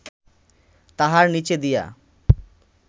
তাহার নীচে দিয়া